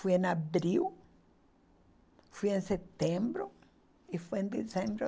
Fui em abril, fui em setembro e fui em dezembro